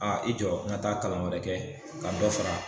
Aa i jɔ n ka taa kalan wɛrɛ kɛ ka dɔ fara.